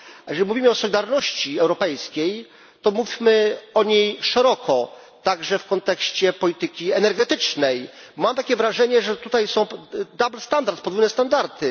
A jeżeli mówimy o solidarności europejskiej, to mówmy o niej szeroko, także w kontekście polityki energetycznej. Mam takie wrażenie, że tutaj są podwójne standardy.